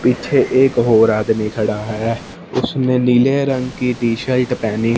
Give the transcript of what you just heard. पीछे एक और आदमी खड़ा है उसने नीले रंग की टी शर्ट पहनी--